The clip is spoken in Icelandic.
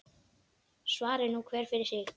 Svari nú hver fyrir sig.